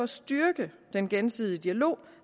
styrke den gensidige dialog